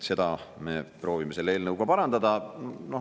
Seda me proovime selle eelnõuga parandada.